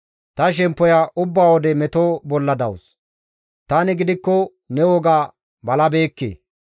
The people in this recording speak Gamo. Ta shemppoya ubba wode meto bolla dawus; tani gidikko ne woga balabeekke.